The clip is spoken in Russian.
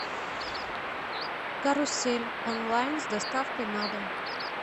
карусель онлайн с доставкой на дом